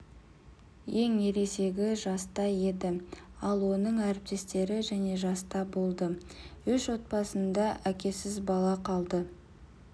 ең ересегі жаста еді ал оның әріптестері және жаста болды үш отбасында әкесіз бала қалды